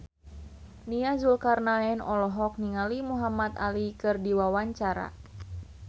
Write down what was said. Nia Zulkarnaen olohok ningali Muhamad Ali keur diwawancara